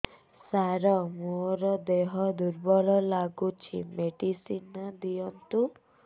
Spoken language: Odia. ସାର ମୋର ଦେହ ଦୁର୍ବଳ ଲାଗୁଚି ମେଡିସିନ ଦିଅନ୍ତୁ